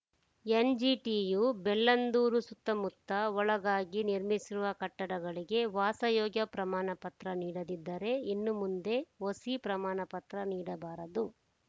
ಎನ್‌ಜಿಟಿಯು ಬೆಳ್ಳಂದೂರು ಸುತ್ತಮುತ್ತ ಒಳಗಾಗಿ ನಿರ್ಮಿಸಿರುವ ಕಟ್ಟಡಗಳಿಗೆ ವಾಸಯೋಗ್ಯ ಪ್ರಮಾಣಪತ್ರ ನೀಡದಿದ್ದರೆ ಇನ್ನು ಮುಂದೆ ಒಸಿ ಪ್ರಮಾಣಪತ್ರ ನೀಡಬಾರದು